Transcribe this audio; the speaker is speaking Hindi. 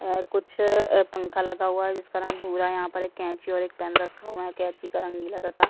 अ कुछ पंखा लगा हुआ है जिसका रंग भूरा है यहाँ पर एक कैची और पेन रखा हुआ है कैची का रंग नीला तथा --